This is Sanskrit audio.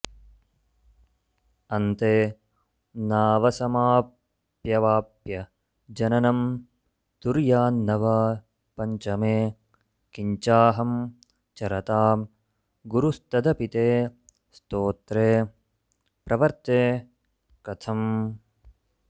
अन्ते नावसमप्यवाप्य जननं तुर्यान्न वा पञ्चमे किञ्चाहं चरतां गुरुस्तदपि ते स्तोत्रे प्रवर्ते कथम्